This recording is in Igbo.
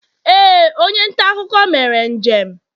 ee, onye nta akụkọ mere njem